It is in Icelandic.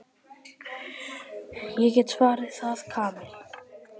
Ég get svarið það, Kamilla.